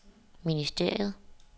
ministeriet